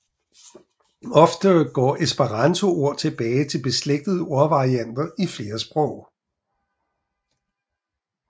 Ofte går esperantoord tilbage til beslægtede ordvarianter i flere sprog